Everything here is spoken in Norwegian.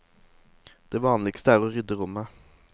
Det vanligste er å rydde rommet.